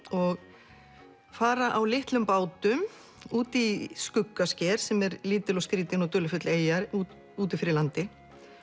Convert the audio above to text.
og fara á litlum bátum út í sem er lítil og skrýtin og dularfull eyja úti fyrir landi